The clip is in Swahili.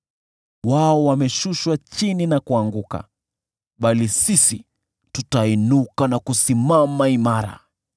Wao wameshushwa chini na kuanguka, bali sisi tunainuka na kusimama imara.